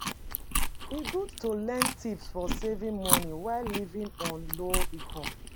E good to learn tips for saving money while living on low income.